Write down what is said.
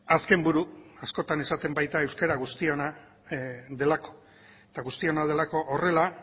azken buru askotan esaten baita euskara guztiona delako eta guztiona delako horrela